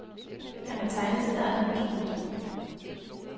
Han har tegnet sit eget hus. punktum